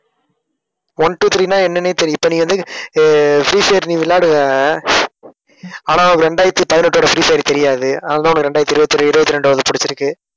one, two, three ன்னா என்னன்னே தெரி~ இப்ப நீ வந்து அஹ் ஃப்ரீ ஃபயர் நீ விளையாடுவ. ஆனா உனக்கு இரண்டாயிரத்தி பதினெட்டோட ஃப்ரீ ஃபயர் தெரியாது. அதனாலதான் உனக்கு இரண்டாயிரத்தி இருபத்தியொரு இருபத்தி இரண்டாவது பிடிச்சிருக்கு